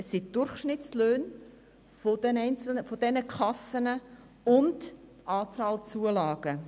Es handelt sich um die Durchschnittslöhne von den einzelnen Kassen und die Anzahl der Zulagen.